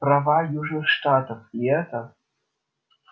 права южных штатов и это